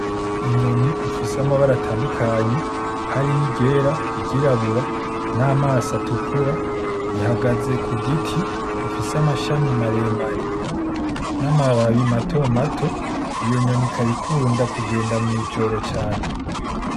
Inyoni ifise amabara atandukanye, harimwo i ryera, iryirabura n'amaso atukura, ihagaze ku giti gifise amashami maremare n'amababi mato mato, iyo nyoni ikaba ikunda kugenda mwi'ijoro cane.